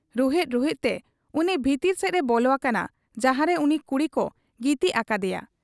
ᱨᱩᱦᱮᱫ ᱨᱩᱦᱮᱫ ᱛᱮ ᱩᱱᱤ ᱵᱷᱤᱛᱤᱨ ᱥᱮᱫ ᱮ ᱵᱚᱞᱚ ᱟᱠᱟᱱᱟ ᱡᱟᱦᱟᱨᱮ ᱩᱱᱤ ᱠᱩᱲᱤᱠᱚ ᱜᱤᱛᱤᱡ ᱟᱠᱟᱫ ᱮᱭᱟ ᱾